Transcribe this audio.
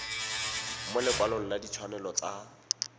mo lekwalong la ditshwanelo tsa